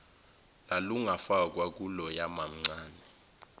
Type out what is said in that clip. lalungafakwa kuloya mamncane